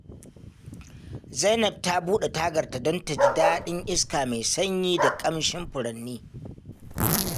Zainab ta buɗe tagarta don ta ji daɗin iska mai sanyi da kamshin furanni.